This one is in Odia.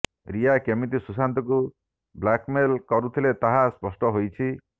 ରିୟା କେମିତି ସୁଶାନ୍ତଙ୍କୁ ବ୍ଲାକ୍ମେଲ କରୁଥିଲେ ତାହା ସ୍ପଷ୍ଟ ହୋଇଛି